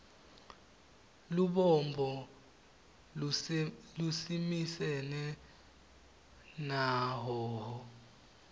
lubombo lusimisene na hhohho